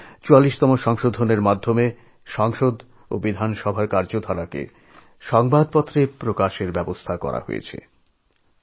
যেমন ৪৪তম সংশোধনী প্রস্তাবের কারণে সংসদ ও বিধানসভার যাবতীয় কাজকর্মের খবর সংবাদপত্রে প্রকাশের সুযোগ করে দেওয়া হয়